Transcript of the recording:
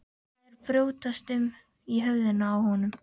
Eitthvað er að brjótast um í höfðinu á honum.